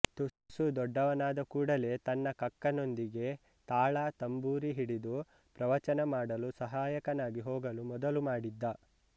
ತುಸು ದೊಡ್ಡವನಾದ ಕೂಡಲೇ ತನ್ನ ಕಕ್ಕನೊಂದಿಗೆ ತಾಳ ತಂಬೂರಿ ಹಿಡಿದು ಪ್ರವಚನಮಾಡಲು ಸಹಾಯಕನಾಗಿ ಹೋಗಲು ಮೊದಲು ಮಾಡಿದ್ದ